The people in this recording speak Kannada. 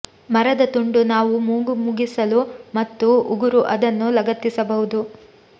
ಮರದ ತುಂಡು ನಾವು ಮೂಗು ಮುಗಿಸಲು ಮತ್ತು ಉಗುರು ಅದನ್ನು ಲಗತ್ತಿಸಬಹುದು